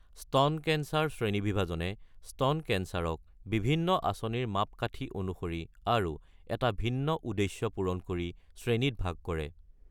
স্তন কেন্সাৰ শ্ৰেণীবিভাজনে স্তন কেন্সাৰক বিভিন্ন আঁচনিৰ মাপকাঠী অনুসৰি আৰু এটা ভিন্ন উদ্দেশ্য পূৰণ কৰি শ্ৰেণীত ভাগ কৰে।